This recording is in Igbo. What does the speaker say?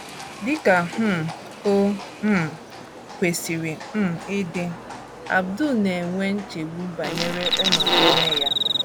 Dị ka um o um kwesịrị um ịdị, Abdur na - enwe nchegbu banyere ọnọdụ nne ya.